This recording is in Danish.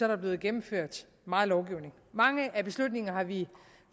der blevet gennemført meget lovgivning mange af beslutningerne har vi